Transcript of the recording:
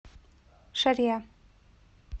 шарья